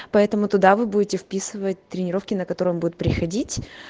поэтому туда вы будете вписывать тренировки на которым будут приходить